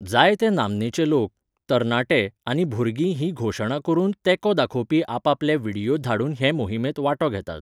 जायते नामनेचे लोक, तरणाटे आनी भुरगीं ही घोशणा करून तेंको दाखोवपी आपापले व्हिडियो धाडून हे मोहिमेंत वांटो घेतात.